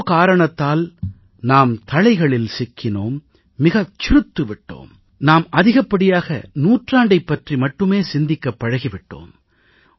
ஏதோ காரணத்தால் நாம் தளைகளில் சிக்கினோம் மிகச் சிறுத்து விட்டோம் நாம் அதிகப்படியாக நூற்றாண்டைப் பற்றி மட்டுமே சிந்திக்கப் பழகி விட்டோம்